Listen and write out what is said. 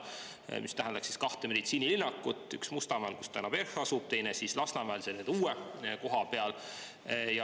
See tähendaks kahte meditsiinilinnakut: üks Mustamäel, kus praegu asub PERH, ja teine Lasnamäel uue koha peal.